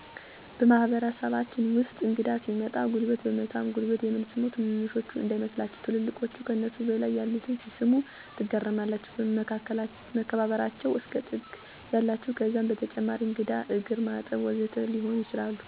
በማህበረሰባችን ውስጥ እንግዳ ሲመጣ ጉልበት በመሳም ጉልበት የምንስመው ትንንሾች እንዳይመስላችሁ ትልልቆች ከነሱ በላይ ያሉትን ሲስሙ ትገረማላችሁ መከባበበራቸው እስከ ጥግ ታያላችሁ ከዛም በተጨማሪ የእንግዳን እግርማጠብ ወዘተ ሊሆኑ ይችላሉ።